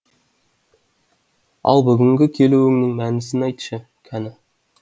ал бүгінгі келуіңнің мәнісін айтшы кәні